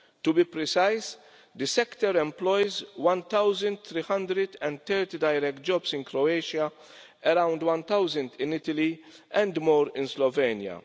To be precise, the sector employs 1330 direct jobs in Croatia, around 1000 in Italy, and more in Slovenia.